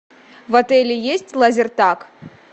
в отеле есть лазертаг